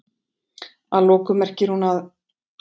Að lokum merkir hún að?